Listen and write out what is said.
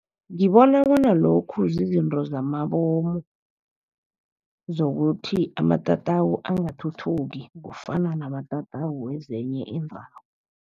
Ngibona bona lokhu zizinto zamabomu, zokuthi amatatawu angathuthuki kufana namatatawu wezinye iindawo.